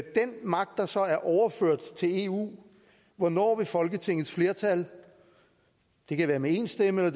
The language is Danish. den magt så er overført til eu hvornår vil folketingets flertal det kan være med en stemmes